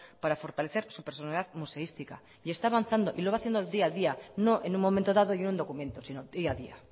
para fortalecer su personalidad museística y está avanzando y lo va haciendo día a día no en un momento dado y en un documento sino día a día